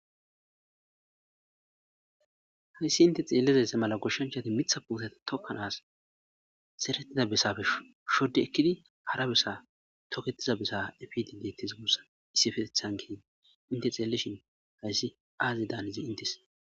Hayssi inte xeelizasse mala goshshonchati mitha puoseta tokkan as serettiza besafe shodde ekkidi hara bessa tokettiza bessa efidi deettes mussa issifetethan kii inte xeellishin hayssi aaze daanizi intes.